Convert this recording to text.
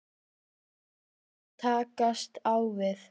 Verkefni til að takast á við?